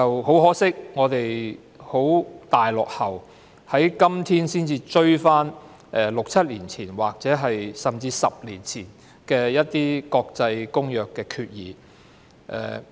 很可惜，我們現已非常落後，在今天才追趕6年、7年甚至10年前的《公約》決議。